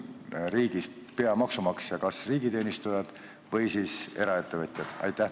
Kes on riigis peamaksumaksja, kas riigiteenistujad või eraettevõtjad?